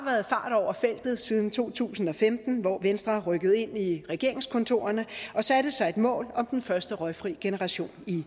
over feltet siden to tusind og femten hvor venstre rykkede ind i regeringskontorerne og satte sig et mål om den første røgfri generation i